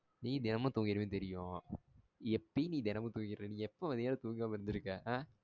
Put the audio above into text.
நீ தினமும் தூங்கிருவேனு தெரியும். எப்பயும் நீ தினமும் தூங்கிருவா. நீ எப்போ மத்தியனாம் தூங்கமா இருந்துருக்கா? ஆ